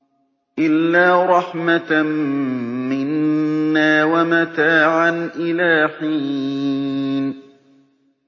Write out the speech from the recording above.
إِلَّا رَحْمَةً مِّنَّا وَمَتَاعًا إِلَىٰ حِينٍ